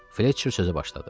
Fletçer sözə başladı.